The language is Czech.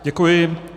Děkuji.